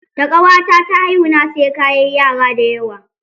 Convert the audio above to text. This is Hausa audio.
Da ƙawata ta haihu na saye kayan yara da yawa.